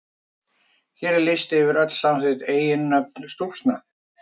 Hér er listi yfir öll samþykkt eiginnöfn stúlkna.